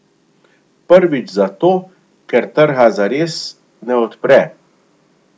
Prvič zato, ker trga zares ne odpre.